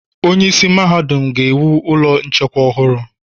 Onyeisi Mahadum ga-ewu ụlọ nchekwa ọhụrụ.